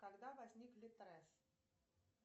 когда возник литрес